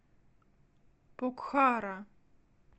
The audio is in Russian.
покхара